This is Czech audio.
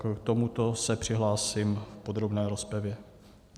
K tomuto se přihlásím v podrobné rozpravě.